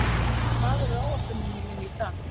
Örvar, hvað er á áætluninni minni í dag?